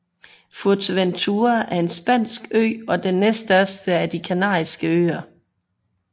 Fuerteventura er en spansk ø og den næststørste af de Kanariske Øer